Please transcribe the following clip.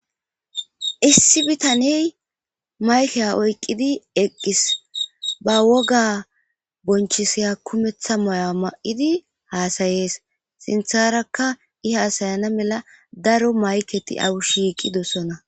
Issi bitaney maykey oyqqidi eqqis ba woga bonchisiya kumeththa moya ma'idi haasayees sintharakka i haasayana mela daro mayketi awushiiqidossona.